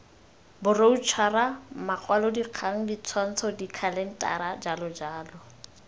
diboroutšhara makwalodikgang ditshwantsho dikhalentara jljl